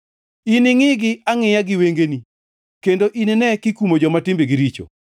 Iningʼigi angʼiya gi wengeni kendo inine kikumo joma timbegi richo.